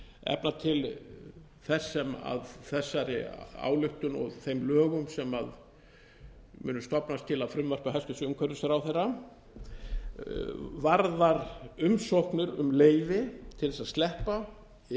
efna til þess sem af þessari ályktun og þeim lögum sem mun stofnast til af frumvarpi hæstvirts umhverfisráðherra varðar umsóknir um leyfi til þess að sleppa eða setja